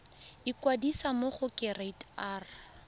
ikwadisa mo go kereite r